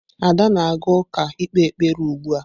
Ada na-aga uka ikpe ekpere ugbua.